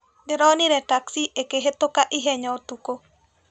Ndĩronire taxi ĩkĩhetũka ihenya ũtukũ.